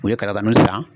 U ye kalakan san